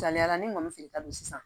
Saliyara ne kɔni fili ka don sisan